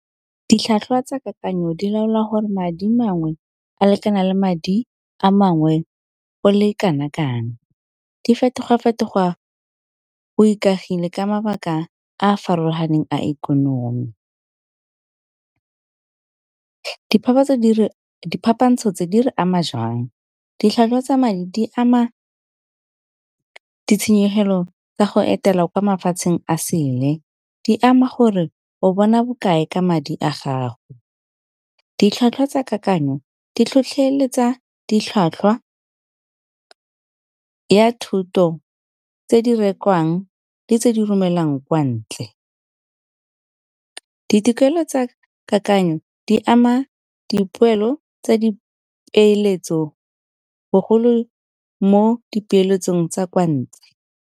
Ditlhwatlhwa tsa kakanyo di laola gore madi mangwe a lekana le madi a mangwe go le kana kang. Di fetoga-fetoga o ikagile ka mabaka a a farologaneng a ikonomi. Diphapantso tse di re ama jang, ditlhwatlhwa tsa di ama ditshenyegelo tsa go etela kwa mafatsheng a sele di ama gore o bona bokae ka madi a gago. Ditlhwatlhwa tsa kakanyo di tlhotlheletsa ditlhwatlhwa ya thoto tse di rekwang le tse di romelang kwa ntle. Ditokelo tsa kakanyo di ama dipoelo tsa dipeeletso bogolo mo dipeeletsong tsa kwa .